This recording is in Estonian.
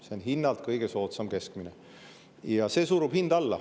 See on hinnalt kõige soodsam keskmine ja see surub hinda alla.